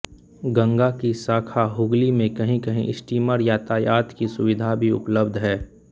गंगा की शाखा हुगली में कहीं कहीं स्टीमर यातायात की सुविधा भी उपलब्ध है